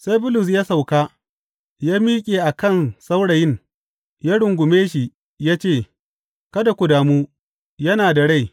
Sai Bulus ya sauka, ya miƙe a kan saurayin ya rungume shi ya ce, Kada ku damu, yana da rai!